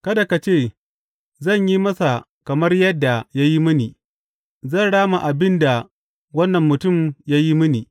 Kada ka ce, Zan yi masa kamar yadda ya yi mini; zan rama abin da wannan mutum ya yi mini.